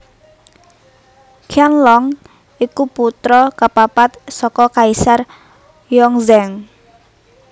Qianlong iku putra kapapat saka Kaisar Yongzheng